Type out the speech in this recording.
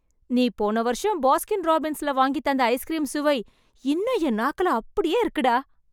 நீ போன வருஷம் பாஸ்கின் ராபின்ஸ்ல வாங்கித் தந்த ஐஸ்க்ரீம் சுவை, இன்னும் என் நாக்குல அப்டியே இருக்குடா...